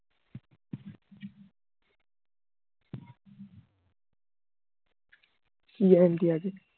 কি guarantee আছে